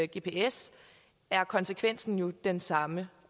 gps er konsekvensen jo den samme